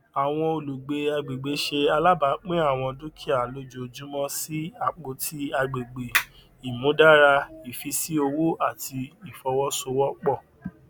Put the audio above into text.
àwọn olùgbé agbègbè ṣe àlàbápín àwọn dúkìà lójoojúmọ sí apótí àgbègbè ìmúdára ìfísí owó àti ìfowósowọpọ